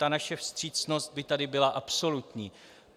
Ta naše vstřícnost by tady byla absolutní.